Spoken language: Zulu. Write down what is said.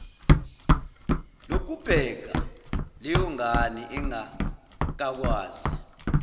lokubheka leyongane engakakwazi